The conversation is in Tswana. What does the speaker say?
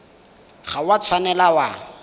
ga o a tshwanela wa